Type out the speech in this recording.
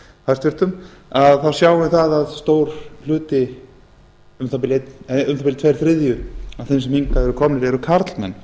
hæstvirtur félagsmálaráðherra þá sjáum við það að stór hluti um það bil tveir þriðju af þeim sem hingað eru komnir eru karlmenn